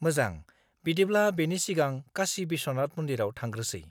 -मोजां, बिदिब्ला बेनि सिगां काशी बिश्वनाथ मन्दिराव थांग्रोसै!